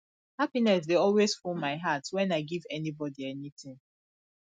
happiness dey always full my heart wen i give anybody anything